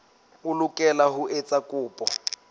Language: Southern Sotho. o lokela ho etsa kopo